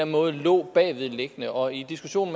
måde lå bagved og i diskussion